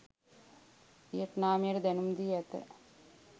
වියට්නාමයට දැනුම් දී ඇත